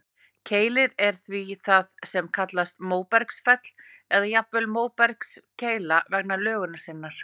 Keilir er því það sem kallast móbergsfell, eða jafnvel móbergskeila vegna lögunar sinnar.